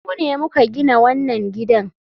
Mu ne muka gina wannan gidan.